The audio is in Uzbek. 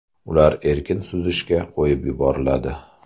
Ular erkin suzishga qo‘yib yuboriladi.